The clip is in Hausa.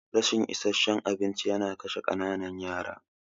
Rashin isasshen abinci yana kashe ƙananan yara.